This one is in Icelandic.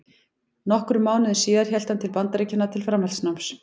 Nokkrum mánuðum síðar hélt hann til Bandaríkjanna til framhaldsnáms.